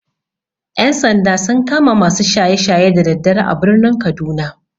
Ƴan-sanda sun kama masu shaye-shaye da daddare a birnin kaduna.